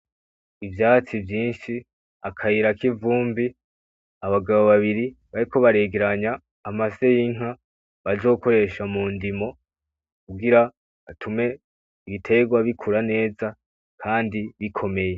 Ivyatsi vyinshi akayira kivumbi , abagabo babiri bariko baregeranya amase yinka bazokoresha mundimo kugira batume ibiterwa bikura neza Kandi bikomeye .